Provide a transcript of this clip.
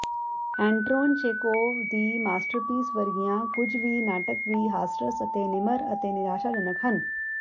ਐਂਟਰੋਨ Chekhov ਦੀ masterpiece ਵਰਗੀਆਂ ਕੁੱਝ ਵੀ ਨਾਟਕ ਵੀ ਹਾਸਰਸ ਅਤੇ ਨਿਮਰ ਅਤੇ ਨਿਰਾਸ਼ਾਜਨਕ ਹਨ